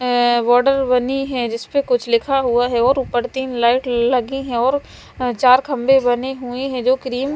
अ border बनी है जिसपे कुछ लिखा हुआ है और ऊपर तीन लाइट लगी हैं और अ चार खम्भे बने हुए हैं जो क्रीम --